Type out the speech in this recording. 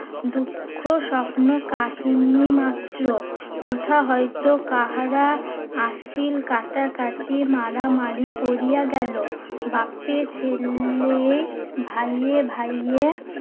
দুঃখ স্বপ্ন কাহিনী মাত্র। কোথা হয়তো কাহারা আসিল কাটাকাটি মারামারি পড়িয়া গেলো। বাপে ছেলে ভাইয়ে ভাইয়ে